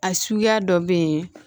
A suguya dɔ bɛ yen